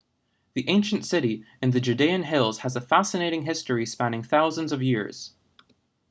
the ancient city in the judean hills has a fascinating history spanning thousands of years